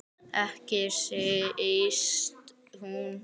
Ekki síst hún.